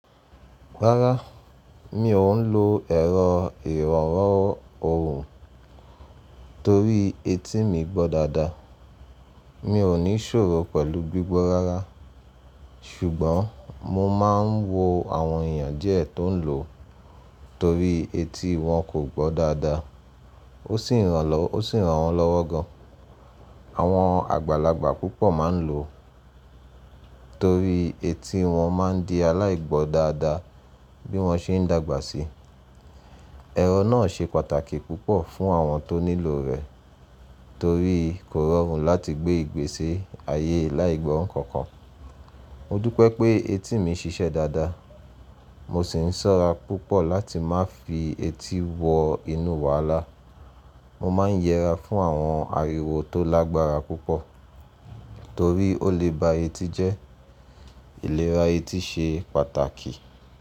Rárá, mi ò ń lo ẹ̀rọ ìroran ọwun torí etí mi gbọ́ dáadáa. Mi ò ní ṣòro pẹ̀lú gbígbọ́ rárá, ṣùgbọ́n mo máa ń wo àwọn èèyàn díẹ̀ tó ń lò ó torí etí wọn kò gbọ́ dáadáa. Ó sì ran wọ́n lọ́wọ́ gan. Àwọn àgbàlagbà púpọ̀ máa ń lò ó torí etí wọn máa ń di aláìgbọ́ dáadáa bí wọ́n ṣe ń dàgbà sí i. Ẹ̀rọ náà ṣe pàtàkì púpọ̀ fún àwọn tó nílò rẹ̀ torí kò rọrùn láti gbé ìgbésẹ̀ ayé aláìgbọ́ nǹkan kan. Mo dúpẹ́ pé etí mi ṣiṣẹ́ dáadáa, mo sì ń ṣọ́ra púpọ̀ láti má fi etí wọ inú wàhálà. Mo máa ń yẹra fún àwọn ariwo tó lágbára púpọ̀ torí ó lè ba etí je Ìlera etí ṣe pàtàkì.